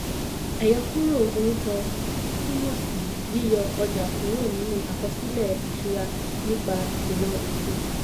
àyọkúrò orúkọ túmọ̀ sí yíyọ ọjà kúrò nínú àkọsílẹ̀ ìṣúra nípa ìkùnà òfin.